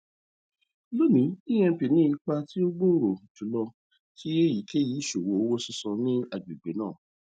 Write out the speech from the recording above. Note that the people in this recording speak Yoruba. loni emp ni ipa ti o gbooro julọ ti eyikeyi iṣowo owo sisan ni agbegbe naa